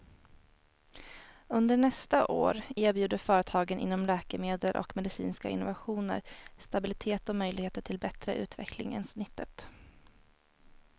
Under nästa år erbjuder företagen inom läkemedel och medicinska innovationer stabilitet och möjligheter till bättre utveckling än snittet.